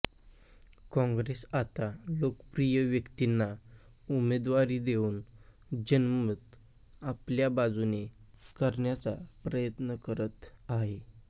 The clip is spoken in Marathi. कॉंग्रेस आता लोकप्रिय व्यक्तींना उमेदवारी देवून जनमत आपल्या बाजूने करण्याचा प्रयत्न करत आहे